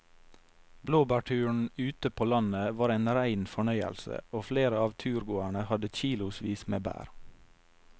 Blåbærturen ute på landet var en rein fornøyelse og flere av turgåerene hadde kilosvis med bær.